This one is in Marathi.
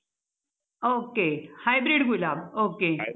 okay hybrid गुलाब ओके